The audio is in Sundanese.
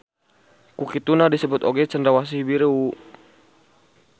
Ku kituna disebut oge Cendrawasih Biru.